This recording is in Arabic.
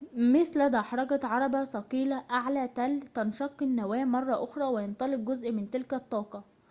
مثل دحرجة عربة ثقيلة أعلى تل تنشق النواة مرة أخرى وينطلق جزء من تلك الطاقة